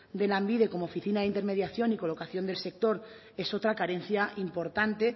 de lanbide como oficina de intermediación y colocación del sector es otra carencia importante